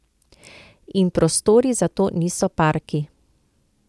In prostori za to niso parki.